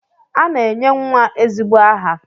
A na-enye nwa ezigbo aha